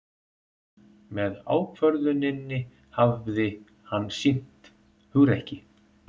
Með ákvörðuninni hafi hann sýnt hugrekki